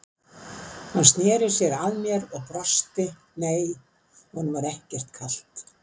Hann sneri sér að mér og brosti, nei, honum var ekkert kalt.